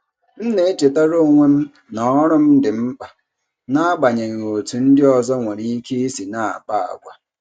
M na-echetara onwe m na ọrụ m dị mkpa, n'agbanyeghị otú ndị ọzọ nwere ike isi na-akpa àgwà.